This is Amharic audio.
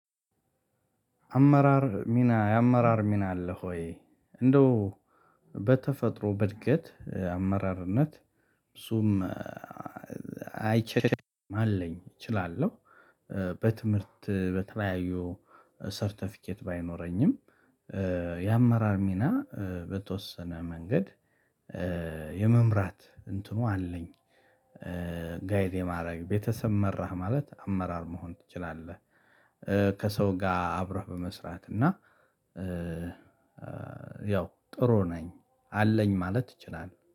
አመራር ሚና የአመራር ሚና አለ ሆይ እንደው በተፈጥሮ በድገት አመራርነት ብዙም አይቸግረኝም አለኝ። እችላለሁ። በትምህርት በተለያዩ ሰርተፊኬት ባይኖረኝም። የአመራር ሚና በተወሰነ መንገድ የመምራት እንትኑ አለኝ። ጋይድ የማድረግ ቤተሰብ መራህ ማለት አመራር መሆን ትችላለህ? ከሰው ጋር አብረህ በመስራት እና ያው ጥሩ ነኝ አለኝ ማለት እችላለሁ